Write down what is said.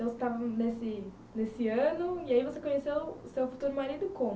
Então, você estava nesse, nesse ano e aí você conheceu o seu futuro marido como?